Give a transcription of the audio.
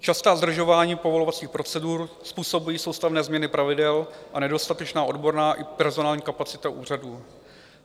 Častá zdržování povolovacích procedur způsobují soustavné změny pravidel a nedostatečná odborná i personální kapacita úřadů.